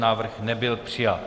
Návrh nebyl přijat.